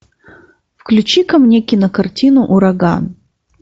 включи ка мне кинокартину ураган